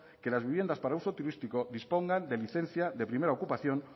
que las viviendas para uso turístico dispongan de licencia de primera ocupación